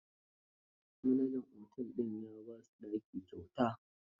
Manajan otel din ya ba su ɗaki kyauta.